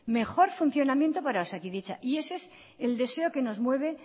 mejor funcionamiento para osakidetza y ese es el deseo que nos mueve